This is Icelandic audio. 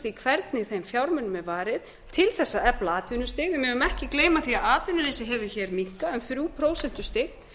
því hvernig þeim fjármunum er varið til að efla atvinnustig en við megum ekki gleyma því að atvinnuleysið hefur minnkað um þrjú prósentustig